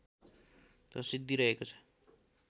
प्रसिद्धि रहेको छ